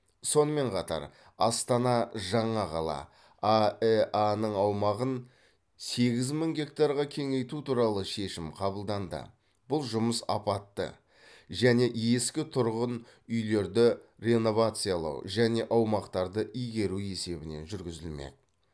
сонымен қатар астана жаңа қала аэа ның аумағын сегіз мың гектарға кеңейту туралы шешім қабылданды бұл жұмыс апатты және ескі тұрғын үйлерді реновациялау және аумақтарды игеру есебінен жүргізілмек